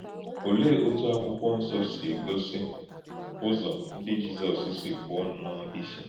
Olèé òtú Àkwụ́kwọ̀ Nsọ sị gòsì ùzò ndí Jízọs sị pụ̀ọ̀ nnọọ ìchè?